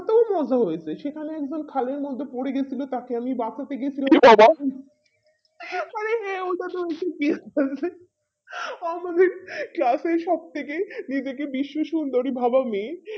তবে মজা হয়েছে সেখানে একজন খালের মধ্যে পরে গিয়েছিলো তাকে আমি বাঁচাতে গিয়েছিলাম মানে আমাদের class এ সব থেকে নিজেকে বিশ্বের সুন্দরী ভাবা মেয়ে